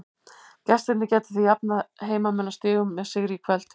Gestirnir geta því jafnað heimamenn að stigum með sigri í kvöld.